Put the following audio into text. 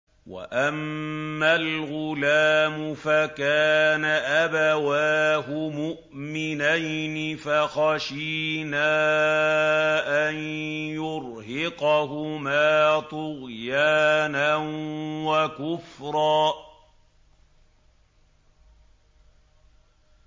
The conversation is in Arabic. وَأَمَّا الْغُلَامُ فَكَانَ أَبَوَاهُ مُؤْمِنَيْنِ فَخَشِينَا أَن يُرْهِقَهُمَا طُغْيَانًا وَكُفْرًا